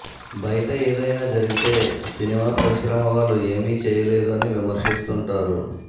బయట ఏదైనా జరిగితే సినిమా పరిశ్రమ వాళ్లు ఏమీ చేయలేదు అని విమర్శిస్తుంటారు